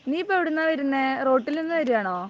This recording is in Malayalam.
നീ ഇപ്പോ എവിടുന്നാ വരുന്നേ? റോട്ടിൽനിന്ന് വരികയാണോ?